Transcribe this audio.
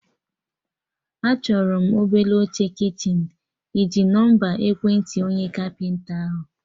Achọrọ m obele oche kichin, ịji nọmba ekwentị onye kapịnta ahụ?